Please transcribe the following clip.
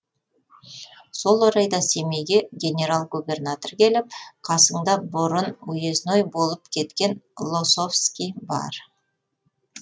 сол орайда семейге генерал губернатор келіп қасыңда бұрын уезной болып кеткен лосовскі бар